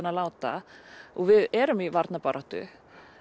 að láta og við erum í varnarbaráttu